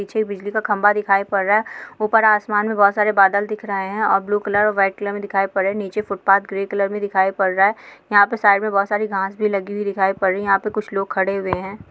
पीछे बिजली का खंबा दिखाई पड रहा है ऊपर आसमान में बहुत सारे बादल दिख रहे है और ब्लू कलर व्हाइट कलर में दिखाई पड रहे है निचे फुटपाथ ग्रे कलर में दिखाई पड़ रहा है यहाँ पे साइड में बहुत सारी घास भी लगी हुई दिखाई पड़ रही है यहाँ पे कुछ लोग खड़े हुए है।